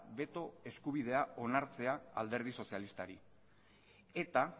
beto eskubidea onartzea da alderdi sozialistari eta